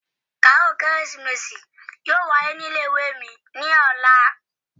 Kàáròl kérésìmesì yóò wáyé ní ilé-ìwé mi ní ọ̀la